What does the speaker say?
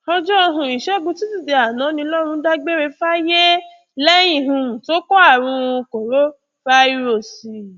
ọjọ um ìṣègùn túṣìdée àná ní lọrun dágbére fáyé lẹyìn um tó kó àrùn korofairósí